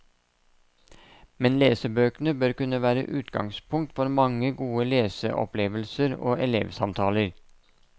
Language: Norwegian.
Men lesebøkene bør kunne være utgangspunkt for mange gode leseopplevelser og elevsamtaler.